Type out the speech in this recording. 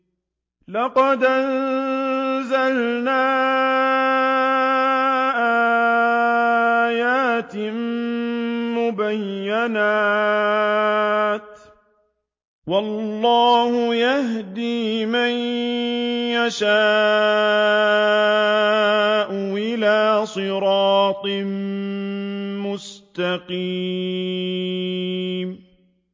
لَّقَدْ أَنزَلْنَا آيَاتٍ مُّبَيِّنَاتٍ ۚ وَاللَّهُ يَهْدِي مَن يَشَاءُ إِلَىٰ صِرَاطٍ مُّسْتَقِيمٍ